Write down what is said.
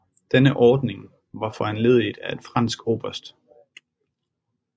Denne ordning var foranlediget af en fransk oberst J